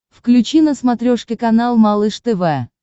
включи на смотрешке канал малыш тв